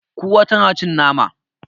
Kura tana cin nama.